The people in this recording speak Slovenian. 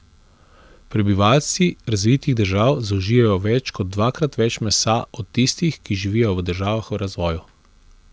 Prebivalci razvitih držav zaužijejo več kot dvakrat več mesa od tistih, ki živijo v državah v razvoju.